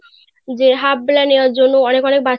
যে half বেলা নেবার জন্য অনেক অনেক বাচ্চারা